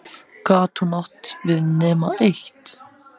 Gat hún átt við nema eitt?